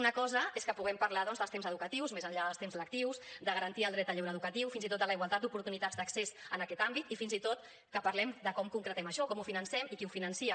una cosa és que puguem parlar doncs dels temps educatius més enllà dels temps lectius de garantir el dret al lleure educatiu fins i tot de la igualtat d’oportunitats d’accés en aquest àmbit i fins i tot que parlem de com concretem això com ho financem i qui ho finança